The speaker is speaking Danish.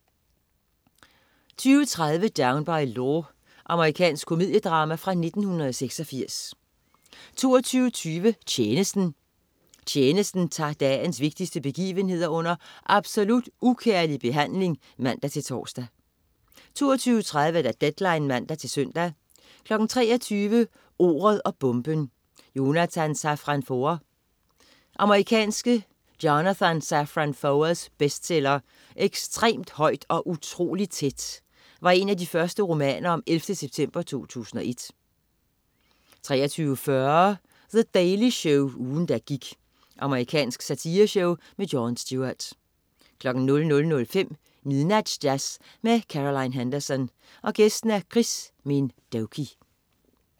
20.30 Down by Law. Amerikansk komediedrama fra 1986 22.20 Tjenesten. Tjenesten tager dagens vigtigste begivenheder under absolut ukærlig behandling (man-tors) 22.30 Deadline (man-søn) 23.00 Ordet og bomben: Jonathan Safran Foer. Amerikanske Jonathan Safran Foers bestseller "Ekstremt højt og utroligt tæt" var en af de første romaner om 11. september 2001 23.40 The Daily Show, ugen der gik. Amerikansk satireshow. Jon Stewart 00.05 Midnatsjazz med Caroline Henderson. Gæst: Chris Minh Doky